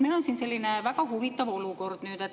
Meil on siin selline väga huvitav olukord.